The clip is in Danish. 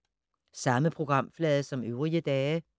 Samme programflade som øvrige dage